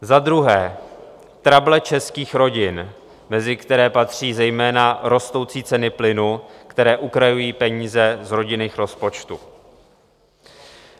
Za druhé, trable českých rodin, mezi které patří zejména rostoucí ceny plynu, které ukrajují peníze z rodinných rozpočtů.